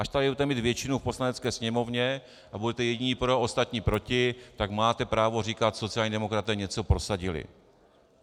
Až tady budete mít většinu v Poslanecké sněmovně a budete jediní pro, ostatní proti, tak máte právo říkat sociální demokraté něco prosadili.